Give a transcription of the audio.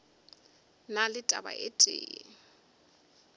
na le taba e tee